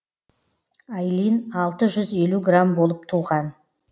айлин алты жүз елу грамм болып туған